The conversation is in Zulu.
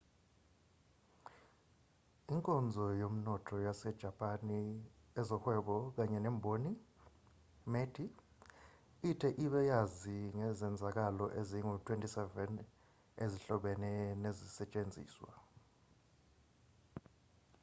inkonzo yomnotho yasejapani ezohwebo kanye nemboni meti ithe ibe yazi ngezenzakalo ezingu-27 ezihlobene nezisetshenziswa